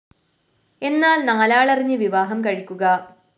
എന്നാല്‍ നാലാളറിഞ്ഞു വിവാഹം കഴിക്കുക